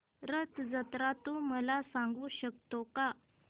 रथ जत्रा तू मला सांगू शकतो का